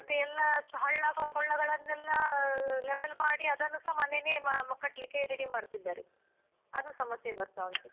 ಮತ್ತೆ ಎಲ್ಲ ಹಳ್ಳ ಕೊಳ್ಳಗಳನ್ನೆಲ್ಲ level ಮಾಡಿ ಅದನ್ನುಸ ಮನೆನೆ ಕಟ್ಲಿಕ್ಕೆ ready ಮಾಡ್ತಿದ್ದಾರೆ ಅದು ಸಮಸ್ಯೆ ಬರ್ತಾ ಉಂಟು.